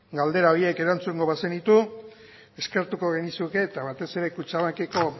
galdera horiek erantzungo bazenitu eskertuko genizuke eta batez ere kutxabankeko